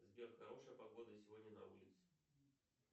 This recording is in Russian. сбер хорошая погода сегодня на улице